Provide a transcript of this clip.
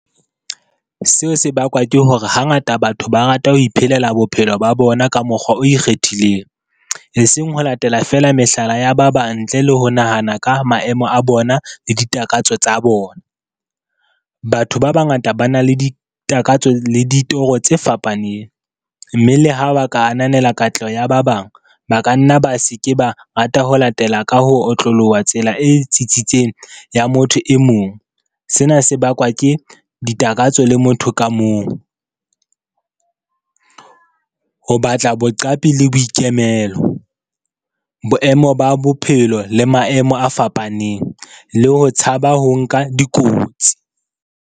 Seo se bakwa ke hore, hangata batho ba rata ho iphelela bophelo ba bona ka mokgwa o ikgethileng, e seng ho latela fela mehlala ya ba bang ntle le ho nahana ka maemo a bona le ditakatso tsa bona. Batho ba bangata ba na le ditakatso le ditoro tse fapaneng, mme le ha ba ka ananela katleho ya ba bang, ba ka nna ba se ke ba rata ho latela ka ho otloloha tsela e tsitsitseng ya motho e mong, sena se bakwa ke ditakatso le motho ka mong. Ho batla boqapi le boikemelo, boemo ba bophelo le maemo a fapaneng le ho tshaba ho nka dikotsi.